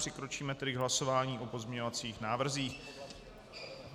Přikročíme tedy k hlasování o pozměňovacích návrzích.